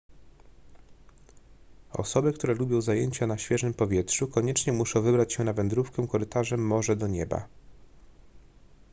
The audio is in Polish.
osoby które lubią zajęcia na świeżym powietrzu koniecznie muszą wybrać się na wędrówkę korytarzem morze do nieba